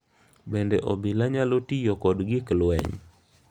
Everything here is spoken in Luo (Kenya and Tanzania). Bende obila nyalo tiyo kod gik lweny?